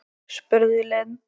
spurði Lind.